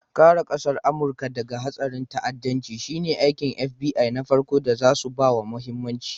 Kare ƙasar Amurika daga harin ta'addanci shine aikin FBI na farko da zasu bawa mahimmanci.